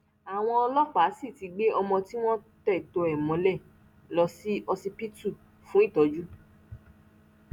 àwọn ọlọpàá sì ti gbé ọmọ tí wọn tẹtọ ẹ mọlẹ lọ sí ọsibítù fún ìtọjú